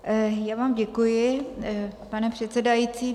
Já vám děkuji, pane předsedající.